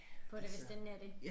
På det hvis det endelig er det